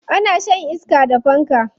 Ana shan iska da fanka.